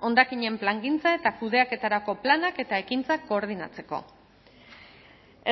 hondakinen plangintza eta kudeaketarako planak eta ekintzak koordinatzeko